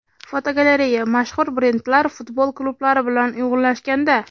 Fotogalereya: Mashhur brendlar futbol klublari bilan uyg‘unlashganda.